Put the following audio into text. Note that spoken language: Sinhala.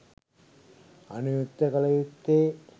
අනුයුක්ත කළ යුත්තේ